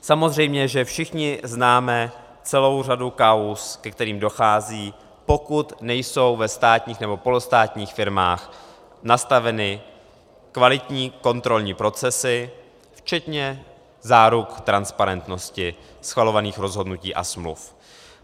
Samozřejmě že všichni známe celou řadu kauz, ke kterým dochází, pokud nejsou ve státních nebo polostátních firmách nastaveny kvalitní kontrolní procesy včetně záruk transparentnosti schvalovaných rozhodnutí a smluv.